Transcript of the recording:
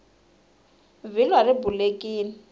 vhilwa ri bulekini